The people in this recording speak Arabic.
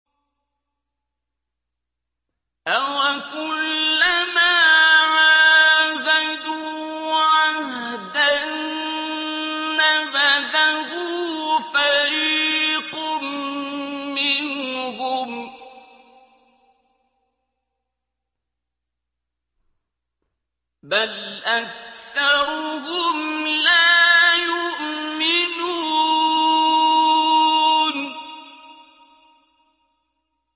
أَوَكُلَّمَا عَاهَدُوا عَهْدًا نَّبَذَهُ فَرِيقٌ مِّنْهُم ۚ بَلْ أَكْثَرُهُمْ لَا يُؤْمِنُونَ